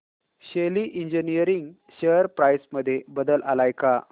शेली engineering share price मध्ये बदल आलाय का